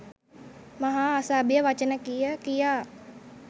මහා අසභ්‍ය වචන කිය කියා